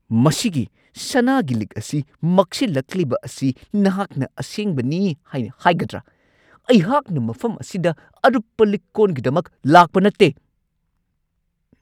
ꯃꯁꯤꯒꯤ ꯁꯅꯥꯒꯤ ꯂꯤꯛ ꯑꯁꯤ ꯃꯛꯁꯤꯜꯂꯛꯂꯤꯕ ꯑꯁꯤ ꯅꯍꯥꯛꯅ ꯑꯁꯦꯡꯕꯅꯤ ꯍꯥꯏꯅ ꯍꯥꯏꯒꯗ꯭ꯔꯥ? ꯑꯩꯍꯥꯛꯅ ꯃꯐꯝ ꯑꯁꯤꯗ ꯑꯔꯨꯞꯄ ꯂꯤꯛ-ꯀꯣꯟꯒꯤꯗꯃꯛ ꯂꯥꯛꯄ ꯅꯠꯇꯦ !